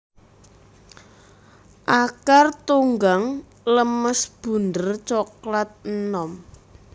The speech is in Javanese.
Akar Tunggang lemes bunder coklat enom